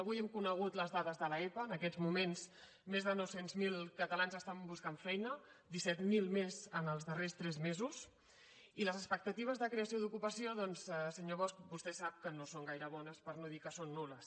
avui hem conegut les dades de l’epa en aquests moments més de nou cents miler catalans estan buscant feina disset mil més en els darrers tres mesos i les expectatives de creació d’ocupació doncs senyor bosch vostè sap que no són gaire bones per no dir que són nul·les